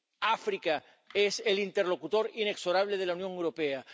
África es el interlocutor inexorable de la Unión Europea.